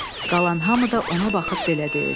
Qalan hamı da ona baxıb belə deyirdi.